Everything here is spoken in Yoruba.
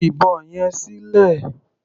Ju ìbọn yẹn sílẹ̀.